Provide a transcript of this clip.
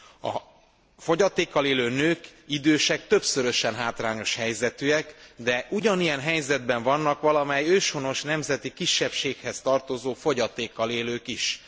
A fogyatékkal élő nők, idősek többszörösen hátrányos helyzetűek, de ugyanilyen helyzetben vannak valamely őshonos nemzeti kisebbséghez tartozó fogyatékkal élők is.